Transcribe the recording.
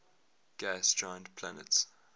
gas giant planets